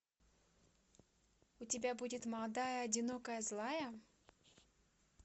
у тебя будет молодая одинокая злая